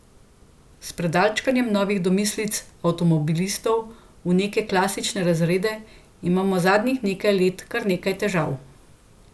S predalčkanjem novih domislic avtomobilistov v neke klasične razrede imamo zadnjih nekaj let kar nekaj težav.